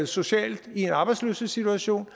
socialt i en arbejdsløshedssituation